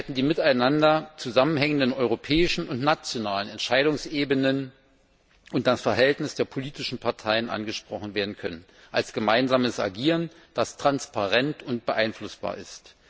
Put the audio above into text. Die miteinander zusammenhängenden europäischen und nationalen Entscheidungsebenen und das Verhältnis der politischen Parteien hätten noch deutlicher angesprochen werden können, als gemeinsames Agieren, das transparent und beeinflussbar ist.